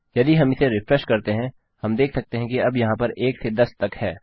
यदि हम इसे रिफ्रेश करते हैं हम देख सकते हैं कि अब यहाँ पर 1 से 10 तक है